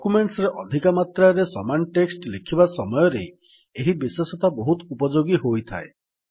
documents ରେ ଅଧିକ ମାତ୍ରାରେ ସମାନ ଟେକ୍ସଟ୍ ଲେଖିବା ସମୟରେ ଏହି ବିଶେଷତା ବହୁତ ଉପଯୋଗୀ ହୋଇଥାଏ